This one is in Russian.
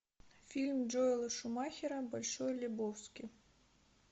фильм джоэла шумахера большой лебовски